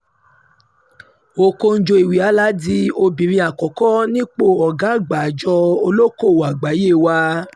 ọ̀kọ́jọ́-ìwéálà di obìnrin àkọ́kọ́ nípò ọ̀gá àgbà àjọ ọlọ́kọ̀ọ́wọ́ àgbáyé wak